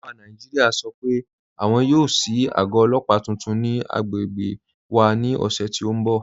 Ọlọ́pà Nàìjíríà sọ́ pé àwọn yóò ṣíì àgọ̀ ọlọ́pà tuntun ni àgbègbè wà ni ọṣẹ̀ ti n bọ̀.